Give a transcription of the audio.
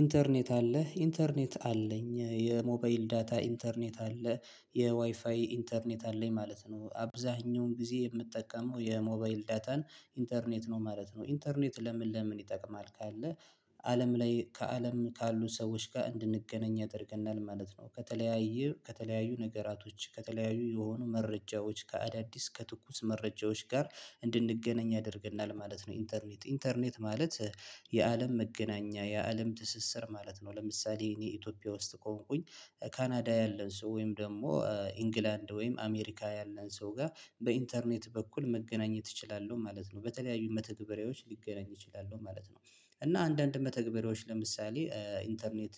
ኢንተርኔት አለህ ኢንተርኔት አለኝ የሞባይል ዳታ ኢንተርኔት አለ የዋይፋይ ኢንተርኔት አለኝ ማለት ነው አብዛኛውን ጊዜ የምጠቀመው የሞባይል ዳታን ኢንተርኔት ነው ማለት ነው። ኢንተርኔት ለምን ለምን ይጠቅማል? ካለ አለም ላይ ከአለም ካሉን ሰዎች ጋር እንድንገናኝ ያደርግናል ማለት ነው። ከተለያዩ ከተለያዩ ነገራቶች ከተለያዩ የሆኑ መረጃዎች ከአዳዲስ ከትኩስ መረጃዎች ጋር እንድንገናኝ ያደርገናል ማለት ነው። ኢንተርኔት ኢንተርኔት ማለት የአለም መገናኛ የአለም ትስስር ማለት ነው። ለምሳሌ እኔ ኢትዮጵያ ውስጥ ከሆንኩኝ ካናዳ ያለን ሰው ወይም ደግሞ ኢንግላንድ ወይም አሜሪካ ያለን ሰው ጋር በኢንተርኔት በኩል መገናኘት እችላለሁ ማለት ነው። በተለያዩ መተግበሪያዎች ሊገናኝ ይችላሉ ማለት ነው። እና አንዳንድ መተግበሪያዎች ለምሳሌ ኢንተርኔት